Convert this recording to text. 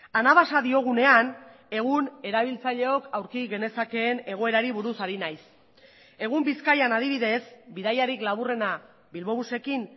anabasa diogunean egun erabiltzaileok aurki genezakeen egoerari buruz ari naiz egun bizkaian adibidez bidaiarik laburrena bilbobusekin